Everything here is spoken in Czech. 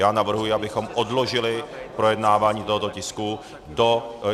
Já navrhuji, abychom odložili projednávání tohoto tisku do...